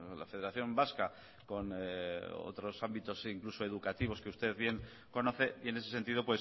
la federación vasca con otros ámbitos incluso educativos que usted bien conoce y en ese sentido